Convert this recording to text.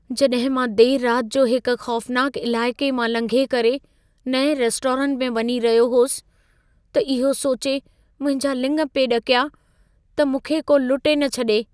जॾहिं मां देर राति जो हिक ख़ौफनाक इलाइक़े मां लंघे करे नएं रेस्टोरेंट में वञी रहियो होसि, त इहो सोचे मुंहिंजा लिङ पिए ॾकिया, त मूंखे को लुटे न छॾे।